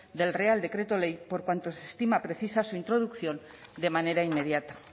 del real decreto ley por cuanto se estima precisa su introducción de manera inmediata